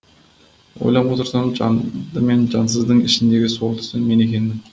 ойлап отырсам жанды мен жансыздың ішіндегі сорлысы мен екенмін